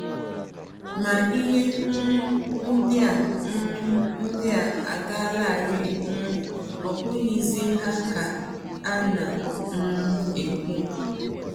Ma ihe um ndị a um ndị a agaalarị, um ọ bụghịzi ha ka a na um - ekwu! ”